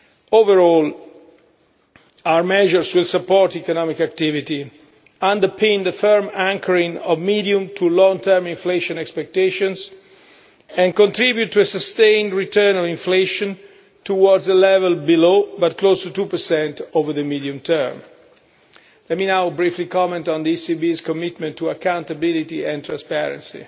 Overall, our measures will support economic activity, underpin the firm anchoring of medium to long term inflation expectations, and contribute to a sustained return of inflation towards a level below, but close to, 2 over the medium term. Let me now briefly comment on the ECB's commitment to accountability and transparency.